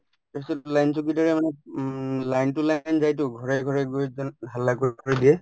তাৰপিছত চকীদাৰে মানে উম line তো line যায়তো ঘৰে ঘৰে গৈ হাল্লা কৰ কৰি দিয়ে